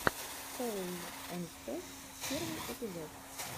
коул энд сэв первый эпизод